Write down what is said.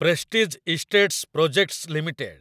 prestige Estates Projects limited